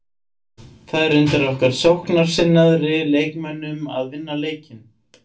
Það er undir okkar sóknarsinnaðri leikmönnum að vinna leikinn.